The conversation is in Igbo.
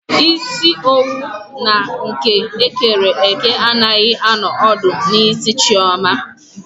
Isi owu na nke ekere eke anaghị anọ ọdụ n'isi Chioma.